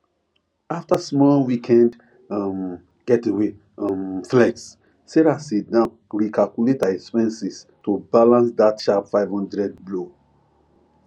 after small weekend um getaway um flex sarah sit down recalculate her expenses to balance that sharp five hundred blow